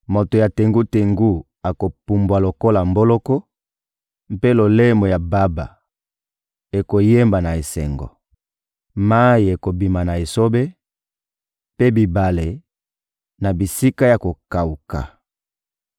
Moto ya tengu-tengu akopumbwa lokola mboloko, mpe lolemo ya baba ekoyemba na esengo. Mayi ekobima na esobe, mpe bibale, na bisika ya kokawuka.